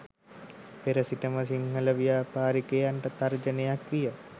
පෙර සිටම සිංහල ව්‍යාපාරිකයන්ට තර්ජනයක් විය